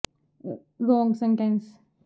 meat plant ਬੰਦ ਕਰਵਾਉਣ ਲਈ ਕੇਂਦਰੀ ਮੰਤਰੀ ਕੋਲ ਪਹੁੰਚ